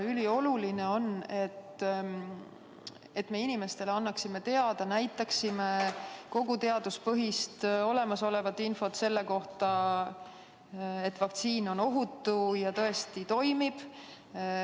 Ülioluline on, et me annaksime inimestele teada kogu olemasoleva teaduspõhise info selle kohta, et vaktsiin on ohutu ja tõesti toimib.